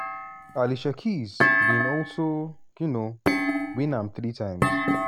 alicia keys bin also um win am three times.